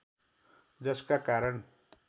जसका कारण